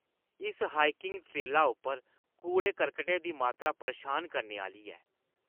इस हाइकिंग ट्रेला उप्पर कूड़े-करकटै दी मात्तरा परेशान करने आह्‌ली ऐ।